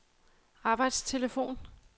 arbejdstelefon